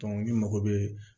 ni mago bɛ